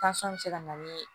bɛ se ka na ni